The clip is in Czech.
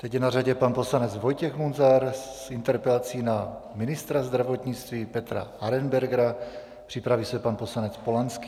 Teď je na řadě pan poslanec Vojtěch Munzar s interpelací na ministra zdravotnictví Petra Arenbergera, připraví se pan poslanec Polanský.